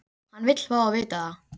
Hann vill fá að vita það.